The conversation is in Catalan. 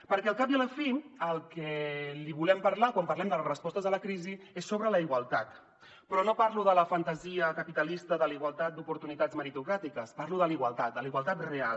perquè al cap i a la fi del que li volem parlar quan parlem de les respostes a la crisi és sobre la igualtat però no parlo de la fantasia capitalista de la igualtat d’oportunitats meritocràtiques parlo de la igualtat de la igualtat real